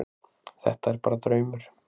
Þetta er bara draumur.